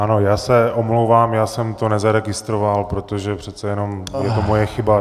Ano, já se omlouvám, já jsem to nezaregistroval, protože přece jenom je to moje chyba.